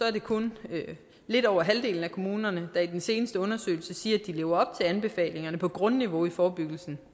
at det kun er lidt over halvdelen af kommunerne der i den seneste undersøgelse siger at de lever op til anbefalingerne på grundniveau i forebyggelsen